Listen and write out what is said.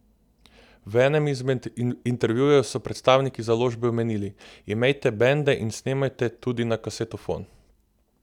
V enem izmed intervjujev so predstavniki založbe omenili: "Imejte bende in snemajte, tudi na kasetofon.